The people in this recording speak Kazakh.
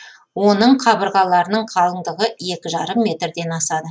оның қабырғаларының қалыңдығы екі жарым метрден асады